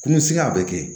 Kun bɛ siga a bɛ kɛ